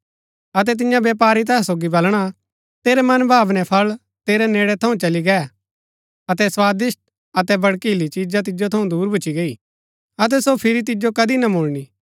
अबै तिन्या व्यपारी तैहा सोगी बलणा तेरै मनभावने फळ तेरै नेड़ै थऊँ चली गै अतै स्वादिष्‍ट अतै भड़कीली चिजा तिजो थऊँ दूर भूच्ची गैई अतै सो फिरी तिजो कदी ना मुळणी